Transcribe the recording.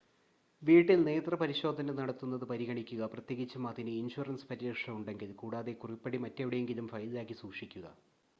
വീട്ടിൽ നേത്രപരിശോധന നടത്തുന്നത് പരിഗണിക്കുക പ്രത്യേകിച്ചും അതിന് ഇൻഷുറൻസ് പരിരക്ഷ ഉണ്ടെങ്കിൽ കൂടാതെ കുറിപ്പടി മറ്റെവിടെയെങ്കിലും ഫയലിലാക്കി സൂക്ഷിക്കുക